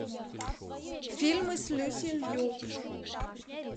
фильмы с люси лью